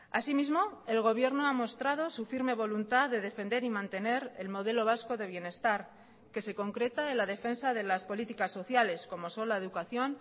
asimismo el gobierno ha mostrado su firme voluntad de defender y mantener el modelo vasco de bienestar que se concreta en la defensa de las políticas sociales como son la educación